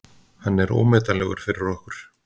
Hann er ómetanlegur fyrir okkur.